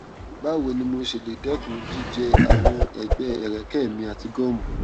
báwo ni mo ṣe lè dẹkun jíjẹ àwọn ẹgbẹ ẹrẹkẹ mi àti gọọmù